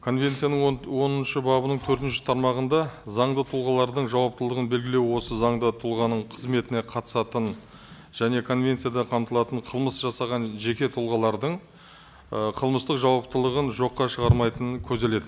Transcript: конвенцияның он оныншы бабының төртінші тармағында заңды тұлғалардың жауаптылығын белгілеу осы заңды тұлғаның қызметіне қатысатын және конвенцияда қамтылатын қылмыс жасаған жеке тұлғалардың ы қылмыстық жауаптылығын жоққа шығармайтыны көзделеді